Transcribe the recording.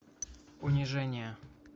унижение